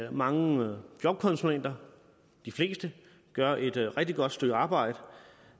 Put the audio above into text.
at mange jobkonsulenter de fleste gør et rigtig godt stykke arbejde